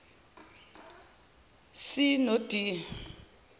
c no d